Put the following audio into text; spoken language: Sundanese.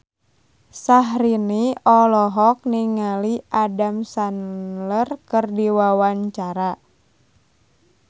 Syahrini olohok ningali Adam Sandler keur diwawancara